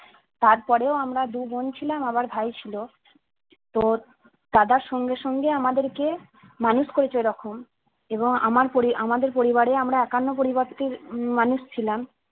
তারপরেও আমরা দু বোন ছিলাম আবার ভাই ছিল তো দাদার সঙ্গে সঙ্গে আমাদের কে মানুষ করেছে ওই রকম এবং আমার পড়ি~ আমাদের পরিবারে আমরা একান্নপরিবর্তী উম মানুষ ছিলাম